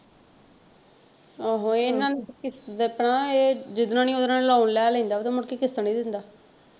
ਆਹੋ ਇਹਨਾਂ ਨੂੰ ਦੱਸਣਾ ਇਹ ਜਿਹਦੇ ਨਾਲ ਹੀ ਓਹਦੇ ਨਾਲ loan ਲੈ ਲੈਂਦਾ ਵਾ ਤੇ ਮੁੜਕੇ ਕਿਸ਼ਤਾਂ ਨਹੀਂ ਦਿੰਦਾ।